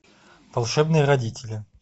волшебные родители